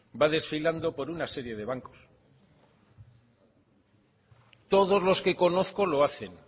va desfilando por una serie de bancos todos los que conozco lo hacen